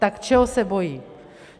Tak čeho se bojí?